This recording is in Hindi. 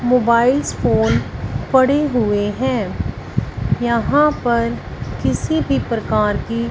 मोबाइल्स फोन पड़े हुए हैं यहां पर किसी भी प्रकार की--